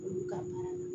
Olu ka baara don